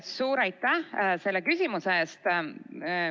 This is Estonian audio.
Suur aitäh selle küsimuse eest!